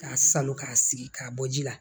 K'a salo k'a sigi k'a bɔ ji la